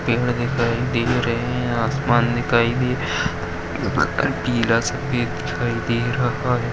पेड़ दिखाई दे रहे है। आसमान दिखाई दे रहा नीला सफेद दिखाई दे रहा है।